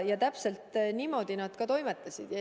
Ja täpselt niimoodi nad ka toimetasid.